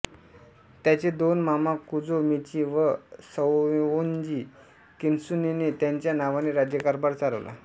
त्याचे दोन मामा कुजो मिची व सैओन्जि किन्त्सुनेने त्याच्या नावाने राज्यकारभार चालवला